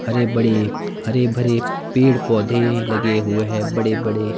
अरे बड़े हरे भरे पेड़ पौधे लगे हुए हैं बड़े बड़े--